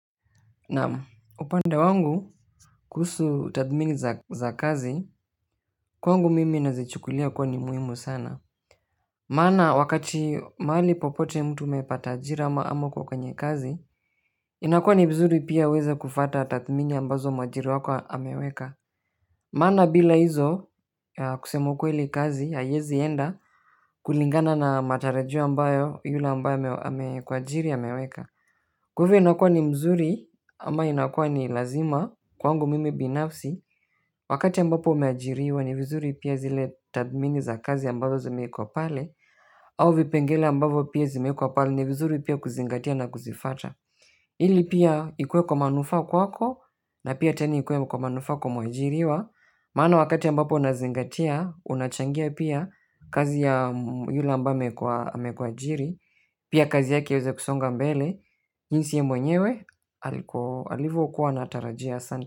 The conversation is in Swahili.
Na upande wangu kuhusu tathmini za kazi kwangu mimi nazichukulia kuwa ni muhimu sana maana wakati mahali popote mtu umepata ajira ama uko kwenye kazi inakua ni vizuri pia uweze kufata tathmini ambazo mwajiri wako ameweka maana bila hizo kusema ukweli kazi haiezi enda kulingana na matarajio ambayo yule ambayo amekuajiri ameweka. Kwahivyo inakua ni mzuri ama inakua ni lazima kwangu mimi binafsi wakati ambapo umeajiriwa ni vizuri pia zile tathmini za kazi ambazo zimewekwa pale au vipengele ambavyo pia vimewekwa pale ni vizuri pia kuzingatia na kuzifata ili pia ikue kwa manufaa kwako na pia tena ikue kwa manufaa kwa mwajiriwa maana wakati ambapo unazingatia unachangia pia kazi ya yule ambae amekuajiri pia kazi yake iweze kusonga mbele jinsi ye mwenyewe alivokua anatarajia sana.